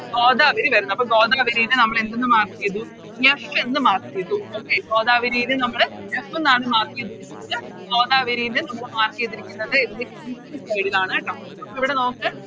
ഗോദാവരി വരുന്നത് അപ്പൊ ഗോദാവരിനെ നമ്മള് എന്തെന്ന് Mark ചെയ്തു F എന്ന് Mark ചെയ്തു Okay ഗോദാവരിനെ നമ്മള് F എന്നാണ് Mark ചെയ്തിരിക്കുന്നത് ഗോദാവരിനെ നമ്മള് Mark ചെയ്തിരിക്കുന്നത് അതിൻറെ East side ആണ് കേട്ടോ അപ്പൊ ഇവിടെ നോക്ക്